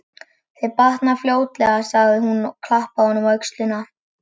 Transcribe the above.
Þér batnar fljótlega sagði hún og klappaði honum á öxlina.